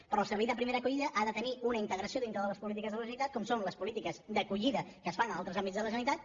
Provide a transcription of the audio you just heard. però el servei de primera acollida ha de tenir una integració dintre de les polítiques de la generalitat com són les polítiques d’acollida que es fan a altres àmbits de la generalitat